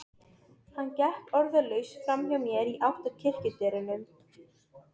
Maðurinn minn hafði áhuga á að fjárfesta í